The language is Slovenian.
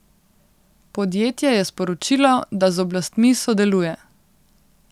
Podjetje je sporočilo, da z oblastmi sodeluje.